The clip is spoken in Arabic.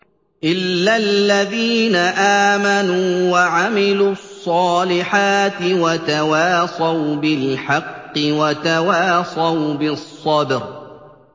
إِلَّا الَّذِينَ آمَنُوا وَعَمِلُوا الصَّالِحَاتِ وَتَوَاصَوْا بِالْحَقِّ وَتَوَاصَوْا بِالصَّبْرِ